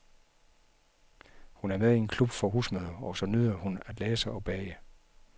Hun er med i en klub for husmødre, og så nyder hun at læse og bage.